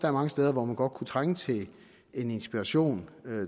er mange steder hvor man godt kunne trænge til inspiration